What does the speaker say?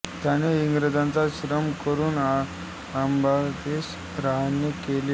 त्याने इंग्रजांचा आश्रय करून अलाहाबादेस रहाणे केले होते